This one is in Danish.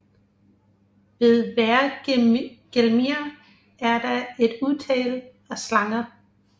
Ved Hvergelmir er der et utal af slanger